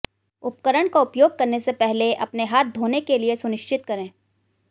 उपकरण का उपयोग करने से पहले अपने हाथ धोने के लिए सुनिश्चित करें